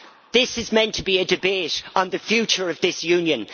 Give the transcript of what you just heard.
This is meant to be a debate on the future of this Union.